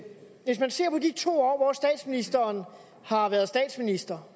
hvis man ser på de to år hvor statsministeren har været statsminister